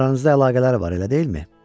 Aranızda əlaqələr var, elə deyilmi?